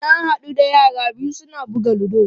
Na haɗu da yara biyu su na buga ludo.